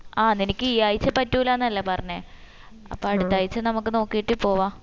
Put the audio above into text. ആ നിനക്ക് ഈ ആഴ്ച പറ്റൂലാന്ന് അല്ലെ പറഞ്ഞെ അപ്പം അടുത്താഴ്ച നമ്മക്ക് നോക്കിട്ട് പോവാ